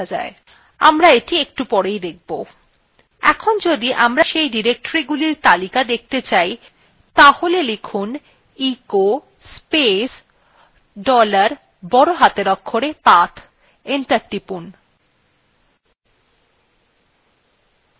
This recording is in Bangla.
enter টিপুন